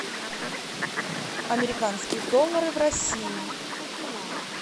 американские доллары в россии